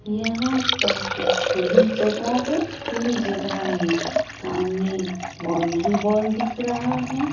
यहाँ पर एक खुली जगह है खुली जगह में सामने बॉउन्ड्री वॉल दिख रहा है।